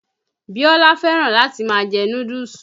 Bíọ́lá fẹ́rán láti má a jẹ núdúùsù.